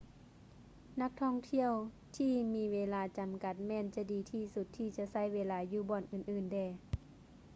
ນັກທ່ອງທ່ຽວທີ່ມີເວລາຈຳກັດແມ່ນຈະດີທີ່ສຸດທີ່ຈະໃຊ້ເວລາຢູ່ບ່ອນອື່່ນໆແດ່